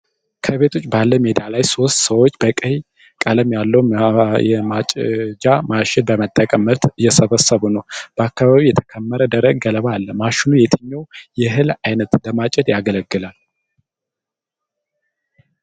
ከቤት ውጭ ባለ ሜዳ ላይ ሦስት ሰዎች በቀይ ቀለም ያለው የማጨጃ ማሽን በመጠቀም ምርት እየሰበሰቡ ነው። በአካባቢው የተከመረ ደረቅ ገለባ አለ። ማሽኑ የትኛውን የእህል ዓይነት ለማጨድ ያገለግላል?